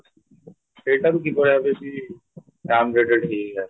ସେଟାବି କିଭଳିଭାବରେ ସେ down reacted ହେଇ ହେଇ ଆସୁଛି